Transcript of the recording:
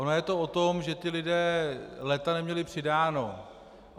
Ono je to o tom, že ti lidé léta neměli přidáno.